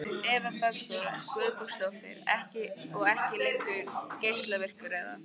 Eva Bergþóra Guðbergsdóttir: Og ekki lengur geislavirkur eða?